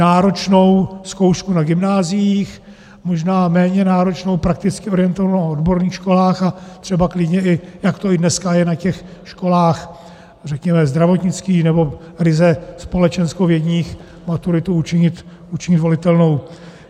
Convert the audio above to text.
Náročnou zkoušku na gymnáziích, možná méně náročnou, prakticky orientovanou na odborných školách a třeba klidně, i jak to i dneska je na těch školách, řekněme, zdravotnických nebo ryze společenskovědních, maturitu učinit volitelnou.